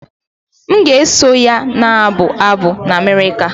M ga-eso ya na-abụ abụ na America